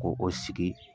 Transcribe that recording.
Ko o sigi